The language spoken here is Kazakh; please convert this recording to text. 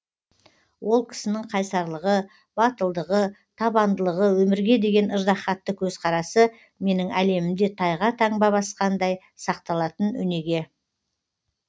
ол кісінің қайсарлығы батылдығы табандылығы өмірге деген ыждаһатты көзқарасы менің әлемімде тайға басқан таңбадай сақталатын өнеге